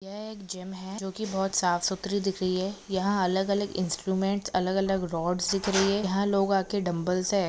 यह एक जिम है जो बहुत ही सफ़सुथरी दिख रही है यहा अलग अलग इन्स्ट्रूमेंट्स अलग अलग रोड्स दिख रही है यहा लोग आके डंबल्स से--